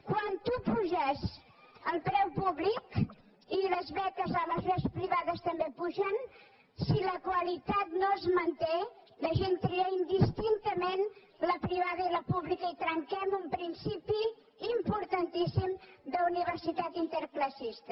quan tu apuges el preu públic i les beques les universitats privades també s’apugen si la qualitat no es manté la gent tria indistintament la privada i la pública i trenquem un principi importantíssim d’universitat interclassista